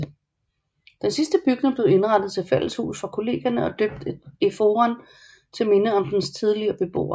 Den sidste bygning blev indrettet til fælleshus for Kollegierne og døbt Eforen til minde om dens tidligere beboer